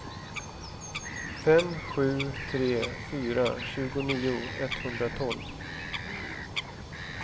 fem sju tre fyra tjugonio etthundratolv